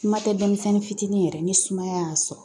Kuma tɛ denmisɛnnin fitinin yɛrɛ ni sumaya y'a sɔrɔ